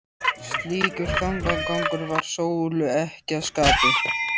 Slíkur þankagangur var Sólu ekki að skapi.